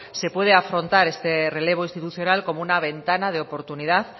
se puede afrontar este relevo institucional como una ventana de oportunidad